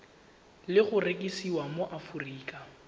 le go rekisiwa mo aforika